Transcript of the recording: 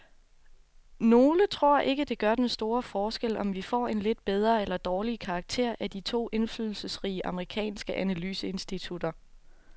Nogle tror ikke, det gør den store forskel, om vi får en lidt bedre eller dårligere karakter af de to indflydelsesrige amerikanske analyseinstitutter.